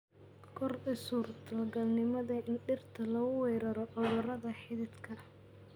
Kordhi suurtagalnimada in dhirta lagu weeraro cudurrada xididka.